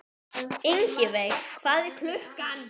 Ingiveig, hvað er klukkan?